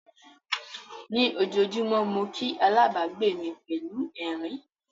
Ní ojoojúmọ́ mo kí alábàgbé mi pẹ̀lú ẹ̀rín.